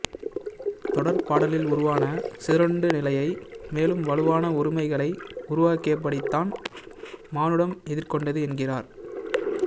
தொடர்பாடலில் உருவான சிதறுண்டநிலையை மேலும் வலுவான ஒருமைகளை உருவாக்கியபடித்தான் மானுடம் எதிர்கொண்டது என்கிறார்